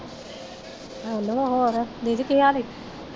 Hello, ਹੋਰ ਦੀਦੀ ਕੀ ਹਾਲ ਐ?